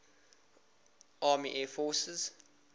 army air forces